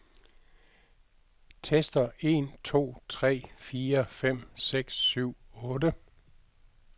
Tester en to tre fire fem seks syv otte.